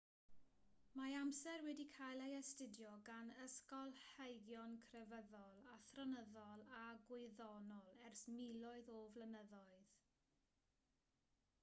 mae amser wedi cael ei astudio gan ysgolheigion crefyddol athronyddol a gwyddonol ers miloedd o flynyddoedd